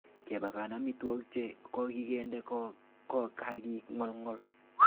Kepaken amitwogik che kokinde ko ka ki ngolngol.